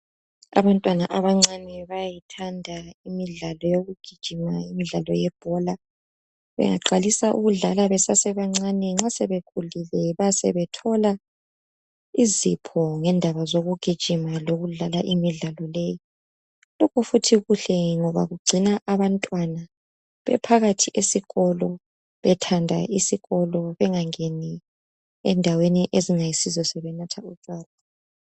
Abantwana abancane bayayithanda imidlalo yokugijima imidlalo yebhola, bengaqalisa ukudlala besasebancane nxa sebekhulile basebethola izipho ndaba zokugijima lokudlala imidlalo leyi. Lokhu futhi kuhle ngoba kugcina abantwana bephakathi esikolo, bethanda isikolo bengangeni endaweni ezingayisizo sebenatha lotshwala.